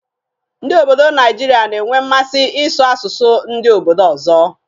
Ndị obodo Naijiria na-enwe mmasị ị́sụ̀ asụsụ ndị obodo ọzọ.